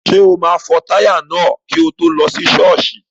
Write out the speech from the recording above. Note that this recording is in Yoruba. Ṣé o máa fọ táyà náà kí o tó lọ ṣọ́ọ̀ṣì?